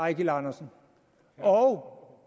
eigil andersen og